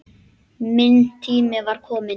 Minn tími var kominn.